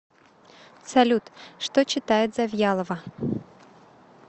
салют что читает завьялова